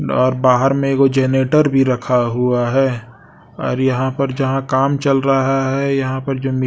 और बाहर में एगो जनरेटर भी रखा हुआ है और यहां पर जहां काम चल रहा है यहां पर जमीन--